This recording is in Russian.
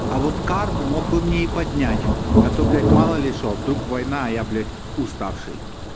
а вот карману мог бы мне и поднять а то блять мало ли что вдруг война а я блять уставший